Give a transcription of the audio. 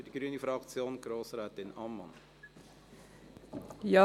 für die grüne Fraktion: Grossrätin Ammann.